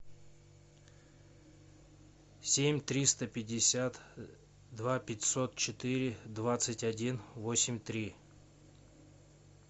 семь триста пятьдесят два пятьсот четыре двадцать один восемь три